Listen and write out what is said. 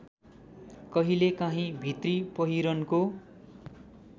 कहिलेकाहिँ भित्री पहिरनको